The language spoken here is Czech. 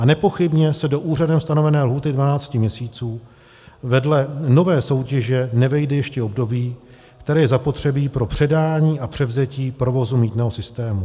A nepochybně se do úřadem stanovené lhůty 12 měsíců vedle nové soutěže nevejde ještě období, které je zapotřebí pro předání a převzetí provozu mýtného systému.